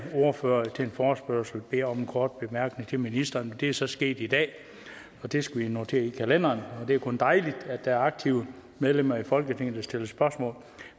ordførerne til en forespørgsel beder om en kort bemærkning til ministeren det er så sket i dag og det skal vi notere i kalenderen det er kun dejligt at der er aktive medlemmer af folketinget der stiller spørgsmål